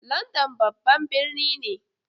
London babban birni ne.